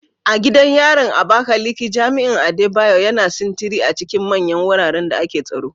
A gidan yarin Abakaleke, jami'in Adebayo, yana sintiri a cikin manyan wuraren da ake tsaro.